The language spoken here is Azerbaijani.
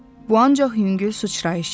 Bu ancaq yüngül sıçrayış idi.